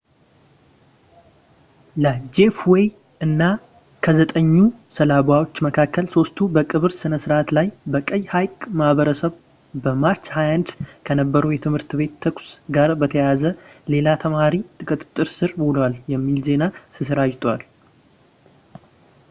ለጄፍ ዌይ እና ከዘጠኙ ሰለባዎች መካከል ሦስቱ በቀብር ሥነ ሥርዓት ላይ በቀይ ሐይቅ ማህበረሰብ በማርች 21 ከነበረው የትምህርት ቤት ተኩስ ጋር በተያያዘ ሌላ ተማሪ በቁጥጥር ስር ውሏል የሚል ዜና ተሰራጭተዋል